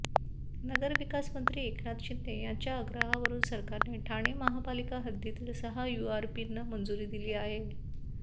नगरविकास मंत्री एकनाथ शिंदे यांच्या आग्रहावरून सरकारने ठाणे महापालिका हद्दीतील सहा यूआरपींना मंजुरी दिली आहे